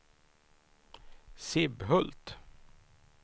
Sibbhult